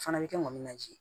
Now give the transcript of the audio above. Fana bɛ kɛ ŋɔni nazi